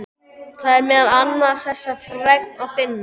Þar er meðal annars þessa fregn að finna